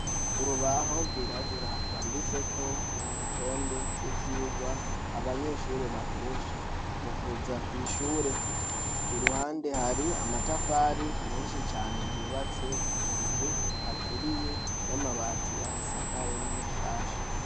Urubaho rwirabura rwanditseko urutonde rw'ivyigwa abanyeshure bakoresha mu kuza kw'ishure. Iruhande hari amatafari menshi cane yubatse iyo nzu aturiye n'amabati ayisakaye ni mashasha.